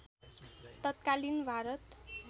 तत्कालीन भारत